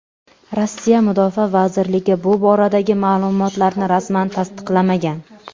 Rossiya mudofaa vazirligi bu boradagi ma’lumotlarni rasman tasdiqlamagan.